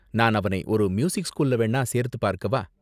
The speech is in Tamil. நான் அவனை ஒரு மியூசிக் ஸ்கூல்ல வேணா சேர்த்து பார்க்கவா?